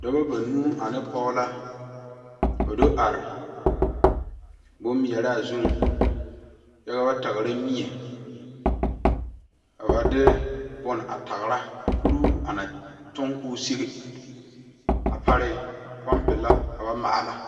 Dɔba banuu ane pɔge la do are bom mɛraa zu, kyɛ ka ba tagera mie ka ba de bon a tagera, kuroo ana toŋ kɔɔ sigi a pareŋ pumpi la ka ba maala